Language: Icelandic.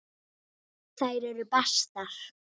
Þær eru bestar.